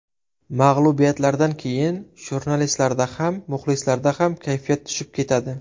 Mag‘lubiyatlardan keyin jurnalistlarda ham, muxlislarda ham kayfiyat tushib ketadi.